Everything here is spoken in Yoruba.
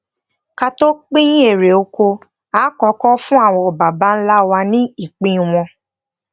ká tó pín irè oko a kókó fún àwọn baba ńlá wa ní ìpín wọn